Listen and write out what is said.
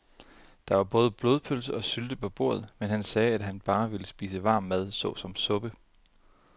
Der var både blodpølse og sylte på bordet, men han sagde, at han bare ville spise varm mad såsom suppe.